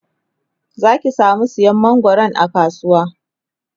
Zaki samu sayan mangwaron a kasuwa